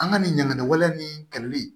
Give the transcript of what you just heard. An ka nin ɲɛnɛ wɛlɛn ni kɛlɛli